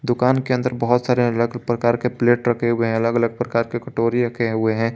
दुकान के अंदर बहुत सारे अलग अलग प्रकार के प्लेट रखे हुए हैं अलग अलग प्रकार के कटोरी रखे हुए हैं।